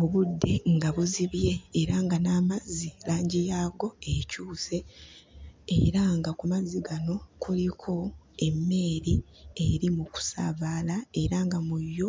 Obudde nga buzibye era nga n'amazzi langi yaago ekyuse, era nga ku mazzi gano kuliko emmeeri eri mu kusaabala era nga mu yo,